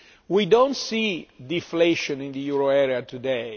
We do not see deflation in the euro area today.